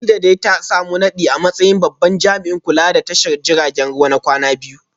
Kadijah dai ta samu nadi a matsayin babban jami’in kula da tashar jiragen ruwa na kwana biyu